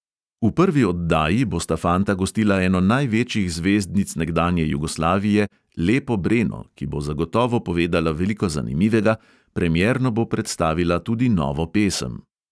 V prvi oddaji bosta fanta gostila eno največjih zvezdnic nekdanje jugoslavije, lepo breno, ki bo zagotovo povedala veliko zanimivega, premierno bo predstavila tudi novo pesem.